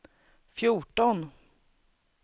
fjorton